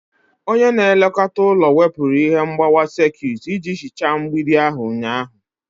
Onye na-elekọta ụlọ wepụrụ ihe mgbawa sekit iji hichaa mgbidi ahụ ụnyaahụ.